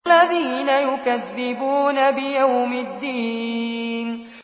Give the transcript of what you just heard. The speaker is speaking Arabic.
الَّذِينَ يُكَذِّبُونَ بِيَوْمِ الدِّينِ